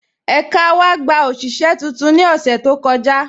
Ẹka wa gbà oṣiṣẹ̀ tuntun ni ọṣẹ̀ tó kọja